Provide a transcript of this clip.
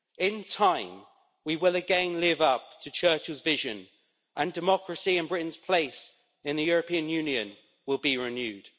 In time, we will again live up to Churchill's vision, and democracy and Britain's place in the European Union will be renewed.